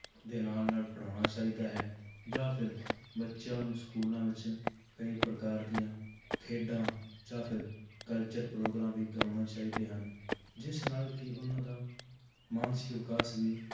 ਦੇ ਨਾਲ ਨਾਲ ਪੜ੍ਹਾਉਣਾ ਚਾਹੀਦਾ ਹੈ ਜਾਂ ਫਿਰ ਬੱਚਿਆਂ ਨੂ ਸਕੂਲਾਂ ਵਿੱਚ ਕਈ ਪ੍ਰਕਾਰ ਦੀਆਂ ਖੇਡਾਂ ਜਾਂ ਫਿਰ ਕਲਚਰ ਪ੍ਰੋਗਰਾਮ ਵੀ ਕਰਵਾਉਣੇ ਚਾਹੀਦੇ ਹਨ, ਜਿਸ ਨਾਲ ਕਿ ਉਹਨਾਂ ਦਾ ਮਾਨਸਿਕ ਵਿਕਾਸ ਵੀ